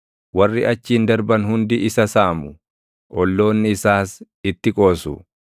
Warri achiin darban hundi isa saamu; olloonni isaas itti qoosu.